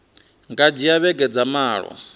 nga dzhia vhege dza malo